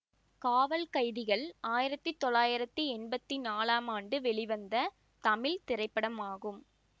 காவல் கைதிகள் ஆயிரத்தி தொள்ளாயிரத்தி எம்பத்தி நாலாம் ஆண்டு வெளிவந்த தமிழ் திரைப்படமாகும்